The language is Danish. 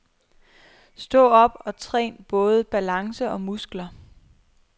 Stå op og træn både balance og muskler.